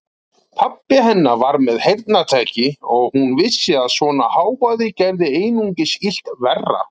Pabbi hennar var með heyrnartæki og hún vissi að svona hávaði gerði einungis illt verra.